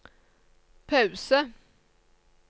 pause